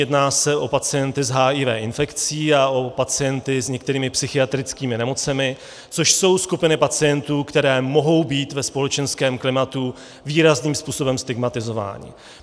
Jedná se o pacienty s HIV infekcí a o pacienty s některými psychiatrickými nemocemi, což jsou skupiny pacientů, které mohou být ve společenském klimatu výrazným způsobem stigmatizovány.